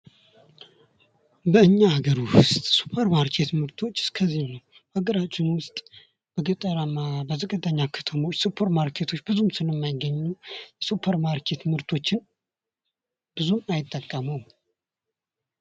በኛ ሀገር ውስጥ የሱፐርማርኬት ምርቶች እስከዚህም ነው በሀገራችን ውስጥ በገጠር በዝቅተኛ ከተሞች ሱፐርማርኬቶች ብዙም ስለማይገኙ ሱፐርማርኬት ምርቶችን ብዙም አይጠቀሙም።